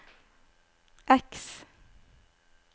X